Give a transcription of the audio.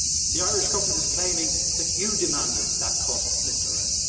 The Irish Government is claiming that you demanded that cut, Mr Rehn.